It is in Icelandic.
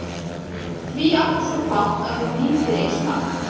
Því áttu svo fátt að þú nýtir ei smátt.